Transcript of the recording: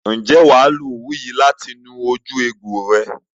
Ǹjẹ́ wà á lo òwú yìí láti nu ojú ẹgbò rẹ?